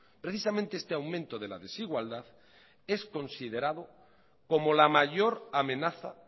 precisamente este aumento de la desigualdad es considerado como la mayor amenaza